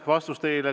Vastus teile.